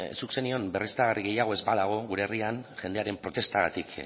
zuk zenion berriztagarri gehiago ez badago gure herrian jendearen protestagatik